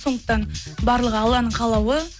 сондықтан барлығы алланың қалауы